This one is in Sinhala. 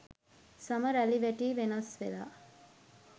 සම රැළ වැටී වෙනස් වෙලා.